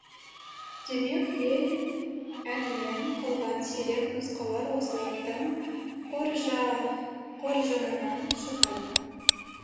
демек ел әнінен қалған сирек нұсқалар осылардың қоржынынан шығады